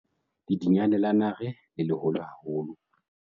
Ledinyane la nare le leholo haholo.